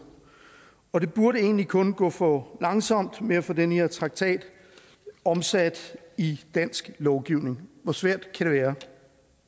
og det burde egentlig kun kunne gå for langsomt med at få den her traktat omsat i dansk lovgivning hvor svært kan det være